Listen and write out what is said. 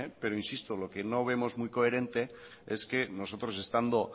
pero insisto lo que no vemos muy coherente es que nosotros estando